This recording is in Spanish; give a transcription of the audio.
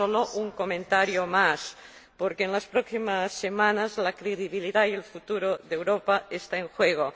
Solo un comentario más, porque en las próximas semanas la credibilidad y el futuro de Europa están en juego.